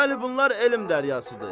Bəli, bunlar elm dəryasıdır.